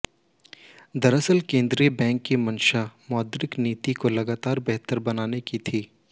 दरअसल केंद्रीय बैंक की मंशा मौद्रिक नीति को लगातार बेहतर बनाने की थी